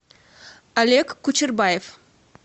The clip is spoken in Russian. олег кучербаев